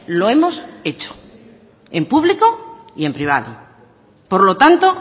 lo hemos hecho en público y en privado por lo tanto